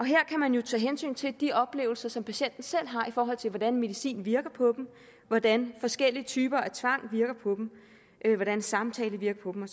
her kan man jo tage hensyn til de oplevelser som patienterne selv har i forhold til hvordan medicinen virker på dem hvordan forskellige typer af tvang virker på dem hvordan samtale virker på dem